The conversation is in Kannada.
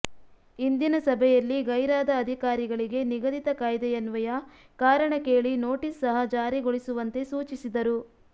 ಇಂದಿನ ಸಭೆಯಲ್ಲಿ ಗೈರಾದ ಅಧಿಕಾರಿಗಳಿಗೆ ನಿಗದಿತ ಕಾಯ್ದೆಯನ್ವಯ ಕಾರಣ ಕೇಳಿ ನೋಟಿಸ್ ಸಹ ಜಾರಿಗೊಳಿಸುವಂತೆ ಸೂಚಿಸಿದರು